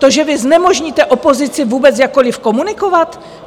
To, že vy znemožníte opozici vůbec jakkoli komunikovat?